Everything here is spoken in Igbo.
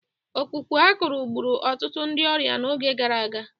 Ọkpụkpụ akụrụ gburu ọtụtụ ndị ọrịa n'oge gara aga